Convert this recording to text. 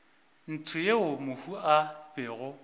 ntsho yeo mohu a bego